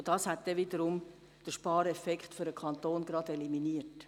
Und das wiederum hätte den Spareffekt für den Kanton eliminiert.